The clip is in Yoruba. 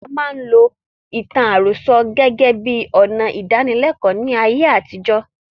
A máa ń lo ìtàn àròsọ gẹ́gẹ́ bíi ọnà ìdánilékòó ní ayé àtijó.